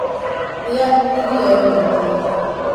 rĩa irio nyingĩ